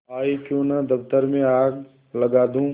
आयीक्यों न दफ्तर में आग लगा दूँ